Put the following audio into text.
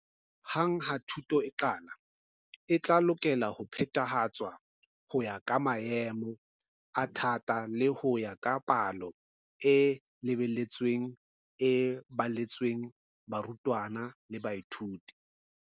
Hang ha thuto e qala, e tla lokela ho phethahatswa ho ya ka maemo a thata le ho ya ka palo e lebeletsweng e baletsweng ya barutwana le baithuti.